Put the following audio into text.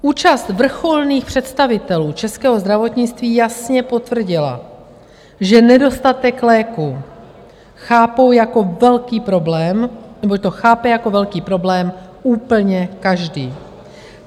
Účast vrcholných představitelů českého zdravotnictví jasně potvrdila, že nedostatek léků chápou jako velký problém, neboť to chápe jako velký problém úplně každý.